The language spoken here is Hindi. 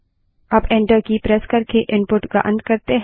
अब एंटर की प्रेस करके इनपुट का अंत करें